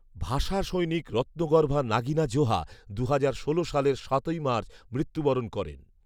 ভাষা সৈনিক রত্মগর্ভা নাগিনা জোহা দুহাজার সালের সাতই মার্চ মৃত্যুবরণ করেন